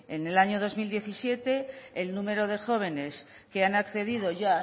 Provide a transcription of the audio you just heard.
en el año dos mil diecisiete el número de jóvenes que han accedido ya a